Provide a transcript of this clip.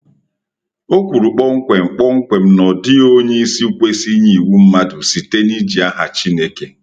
Ọ kwuru kpọmkwem kpọmkwem na ọ dịghị onye isi kwesị inye iwu mmadụ site n’iji aha Chineke.